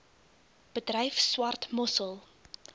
bedryf swart mossel